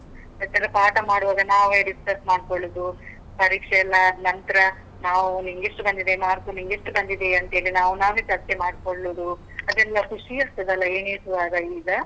ಮತ್ತೆಲ್ಲ ಪಾಠ ಮಾಡುವಾಗ ನಾವೇ discuss ಮಾಡ್ಕೊಳ್ಳುದು, ಪರೀಕ್ಷೆ ಎಲ್ಲ ಅದ್ನಂತ್ರ ನಾವು, ನಿಂಗೆಷ್ಟು ಬಂದಿದೆ mark ? ನಿಂಗೆಷ್ಟು ಬಂದಿದೆ ಅಂತ್ ಹೇಳಿ, ನಾವ್ ನಾವೇ ಚರ್ಚೆ ಮಾಡ್ಕೊಳ್ಳುದು, ಅದೆಲ್ಲ ಖುಷೀ ಆಗ್ತದಲ್ಲ ಎಣಿಸುವಾಗ ಈಗ?